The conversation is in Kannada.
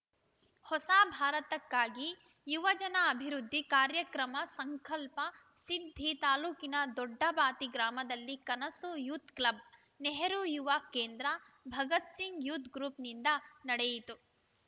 ಹೊಸ ಭಾರತಕ್ಕಾಗಿ ಯುವಜನ ಅಭಿವೃದ್ಧಿ ಕಾರ್ಯಕ್ರಮ ಸಂಕಲ್ಪ ಸಿದ್ಧಿ ತಾಲೂಕಿನ ದೊಡ್ಡಬಾತಿ ಗ್ರಾಮದಲ್ಲಿ Kanasu youth club Nehru Yuva Kendra Bhagat Singh youth ಗ್ರೂಪ್‌ನಿಂದ ನಡೆಯಿತು